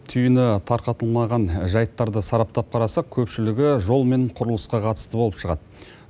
түйіні тарқатылмаған жайттарды сараптап қарасақ көпшілігі жолмен құрылысқа қатысты болып шығады